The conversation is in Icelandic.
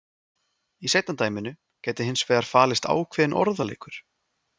Í seinna dæminu gæti hins vegar falist ákveðinn orðaleikur.